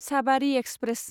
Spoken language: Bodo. साबारि एक्सप्रेस